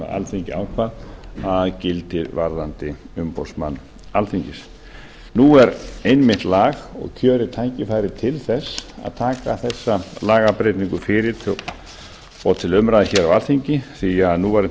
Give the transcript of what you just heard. alþingi ákvað að gilti varðandi umboðsmann alþingis nú er einmitt lag og kjörið tækifæri til þess að taka þessa lagabreytingu fyrir og til umræðu hér á alþingi því að núverandi